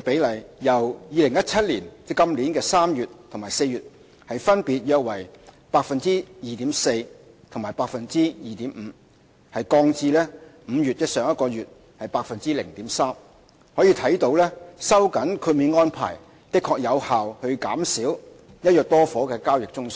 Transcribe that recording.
比例，由2017年3月及4月的分別約 2.4% 和 2.5% 降至5月的 0.3%， 可見收緊豁免安排的確有效減少"一約多伙"的交易宗數。